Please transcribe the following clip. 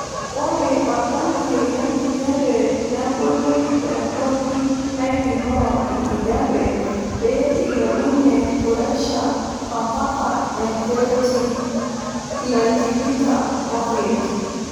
Ore oltanki le nkijape nebuli te ntoki naipimoo enkijape pee eilepunye puresha ampaka orkereti le tikitam omiet.